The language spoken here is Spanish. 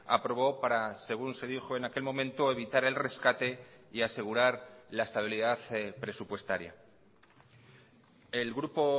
aprobó para según se dijo en aquel momento evitar el rescate y asegurar la estabilidad presupuestaria el grupo